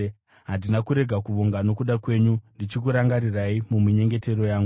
handina kurega kuvonga nokuda kwenyu, ndichikurangarirai muminyengetero yangu.